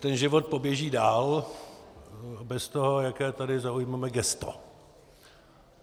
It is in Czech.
Ten život poběží dál, bez toho, jaké tady zaujmeme gesto.